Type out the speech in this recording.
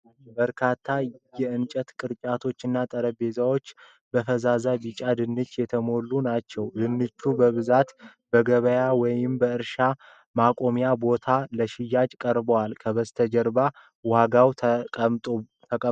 በርካታ የእንጨት ቅርጫቶችና ጠረጴዛዎች በፈዛዛ ቢጫ ድንች የተሞሉ ናቸው። ድንቹ በብዛት በገበያ ወይም በእርሻ ማቆሚያ ቦታ ለሽያጭ ቀርበዋል። ከበስተጀር ዋጋው ተቀምጧል።